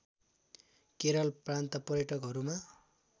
केरल प्रान्त पर्यटकहरूमा